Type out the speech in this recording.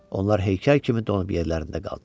Onlar heykəl kimi donub yerlərində qaldılar.